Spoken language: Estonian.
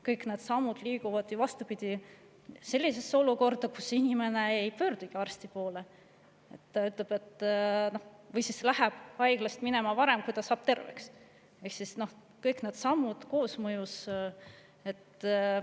Kõik need sammud ju sellise olukorrani, kus inimene ei pöördugi arsti poole või läheb haiglast minema enne, kui ta saab terveks – kõik need sammud koosmõjus.